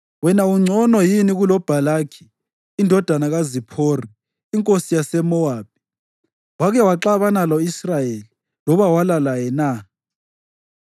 Wena ungcono yini kuloBhalaki indodana kaZiphori, inkosi yaseMowabi? Wake waxabana lo-Israyeli loba walwa laye na?